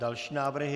Další návrhy.